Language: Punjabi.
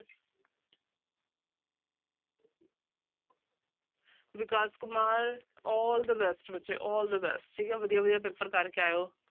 Vikas Kumar all the best ਬੱਚੇ all the best ਠੀਕ ਹੈ ਵਧੀਆ ਵਧੀਆ ਪੇਪਰ ਕਰਕੇ ਆਇਓ।